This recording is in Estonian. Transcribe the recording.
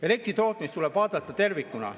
Elektri tootmist tuleb vaadata tervikuna.